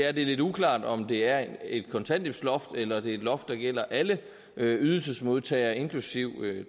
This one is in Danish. at det er lidt uklart om det er et kontanthjælpsloft eller det er et loft der gælder alle ydelsesmodtagere inklusive